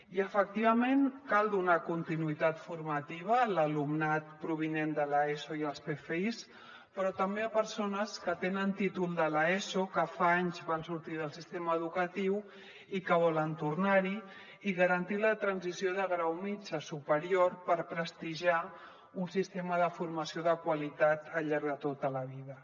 i efectivament cal donar continuïtat formativa a l’alumnat provinent de l’eso i els pfis però també a persones que tenen títol de l’eso que fa anys van sortir del sistema educatiu i que volen tornar hi i garantir la transició de grau mitjà a superior per prestigiar un sistema de formació de qualitat al llarg de tota la vida